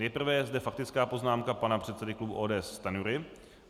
Nejprve je zde faktická poznámka pana předsedy klubu ODS Stanjury.